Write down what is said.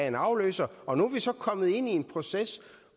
en afløser og nu er vi så kommet ind i en proces